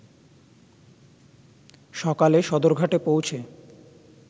সকালে সদরঘাটে পৌঁছে